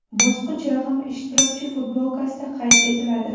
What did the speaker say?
Bosqich raqami ishtirokchi futbolkasida qayd etiladi.